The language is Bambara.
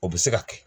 O bɛ se ka kɛ